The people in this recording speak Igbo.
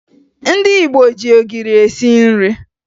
Ndị Igbo ji ogiri esi nri